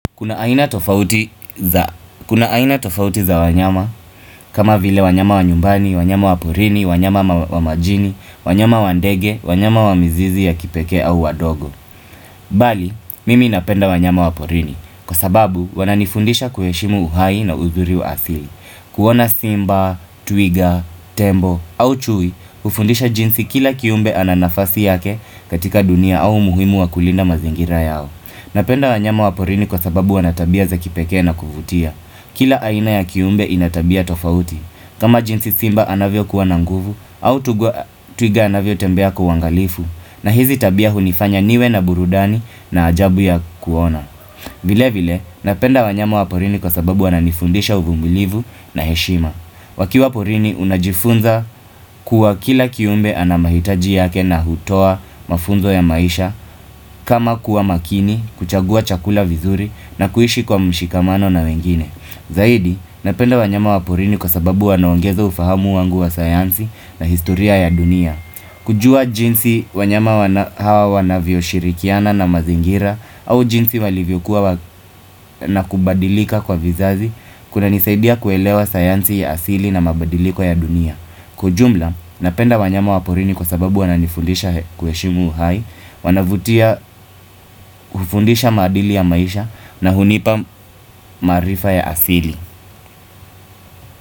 Kuna aina tofauti za wanyama kama vile wanyama wa nyumbani, wanyama wa porini, wanyama wa majini, wanyama wa ndege, wanyama wa mizizi ya kipekee au wadogo Bali, mimi napenda wanyama wa porini Kwa sababu, wananifundisha kuheshimu uhai na uzuri wa asili kuona simba, twiga, tembo, au chui hufundisha jinsi kila kiumbe ananafasi yake katika dunia au muhimu wa kulinda mazingira yao Napenda wanyama waporini kwa sababu wanatabia za kipekee na kuvutia. Kila aina ya kiumbe inatabia tofauti. Kama jinsi simba anavyo kuwa nanguvu au twiga anavyo tembea kwa uangalifu na hizi tabia hunifanya niwe na burudani na ajabu ya kuona. Vile vile napenda wanyama waporini kwa sababu wananifundisha uvumilivu na heshima wakiwa waporini unajifunza kuwa kila kiumbe anamahitaji yake na hutoa mafunzo ya maisha kama kuwa makini, kuchagua chakula vizuri na kuishi kwa mshikamano na wengine Zaidi napenda wanyama waporini kwa sababu wanaongeza ufahamu wangu wa sayansi na historia ya dunia kujua jinsi wanyama hawa wanavyo shirikiana na mazingira au jinsi walivyokuwa na kubadilika kwa vizazi kuna nisaidia kuelewa sayansi ya asili na mabadiliko ya dunia. Kwa ujumla, napenda wanyama waporini kwa sababu wananifundisha kuheshimu uhai, wanavutia ufundisha madili ya maisha na hunipa maarifa ya asili.